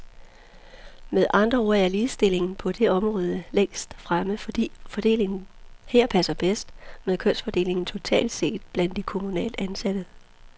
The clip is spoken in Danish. Med andre ord er ligestillingen på det område længst fremme, fordi fordelingen her passer bedst med kønsfordelingen totalt set blandt de kommunalt ansatte.